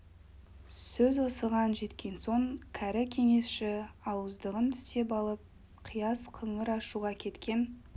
сөз осыған жеткен соң кәрі кеңесші ауыздығын тістеп алып қияс қыңыр ашуға кеткен